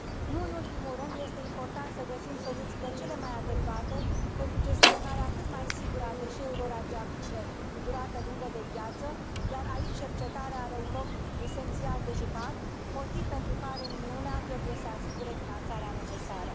Nu în ultimul rând, este important să găsim soluțiile cele mai adecvate pentru gestionarea cât mai sigură a deșeurilor radioactive cu durată lungă de viață, iar aici cercetarea are un rol esențial de jucat, motiv pentru care Uniunea trebuie să asigure finanțarea necesară.